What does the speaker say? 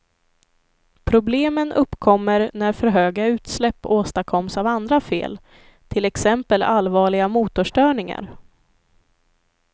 Problemen uppkommer när för höga utsläpp åstadkomms av andra fel, till exempel allvarliga motorstörningar.